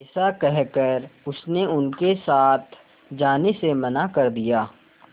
ऐसा कहकर उसने उनके साथ जाने से मना कर दिया